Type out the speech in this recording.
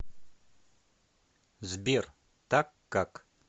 сбер так как